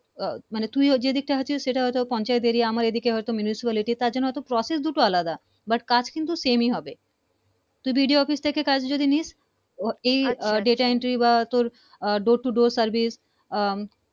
আহ মানে তুই ওই যে দিকটা দেখাছিস পঞ্চায়েত এরিয়া আমার এই দিকে হয়তো municipality তার জন্য process দুটো আলাদা but কাজ কিন্তু same ই হবে BDOoffice থেকে কাজ জেনে নিস ও আহ data entry বা তোর Door to Door service ah